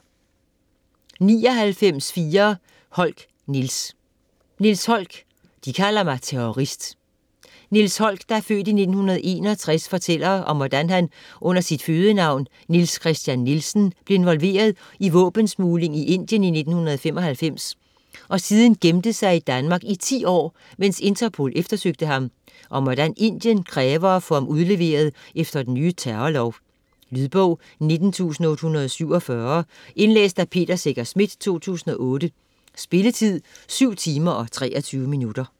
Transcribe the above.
99.4 Holck, Niels Holck, Niels: De kalder mig terrorist Niels Holck (f. 1961) fortæller om hvordan han under sit fødenavn Niels Christian Nielsen blev involveret i våbensmugling i Indien i 1995 og siden gemte sig i Danmark i 10 år, mens Interpol eftersøgte ham, og om hvordan Indien kræver at få ham udleveret efter den nye terrorlov. Lydbog 19847 Indlæst af Peter Secher Schmidt, 2008. Spilletid: 7 timer, 23 minutter.